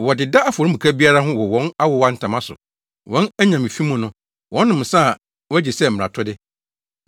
Wɔdeda afɔremuka biara ho wɔ wɔn awowa ntama so. Wɔn anyame fi mu no, wɔnom nsa a wɔagye sɛ mmaratode.